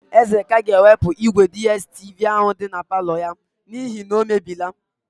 Ezeka ga-ewepụ ígwèDiestivi áhụ̀ dị na palọ ya n'ihi na o mebiela.